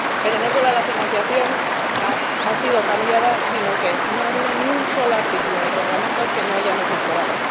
Pero no solo la financiación ha sido cambiada, sino que no ha habido ni un solo artículo del Reglamento que no hayamos mejorado.